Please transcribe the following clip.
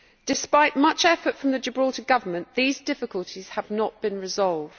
Despite much effort from the Gibraltar Government, these difficulties have not been resolved.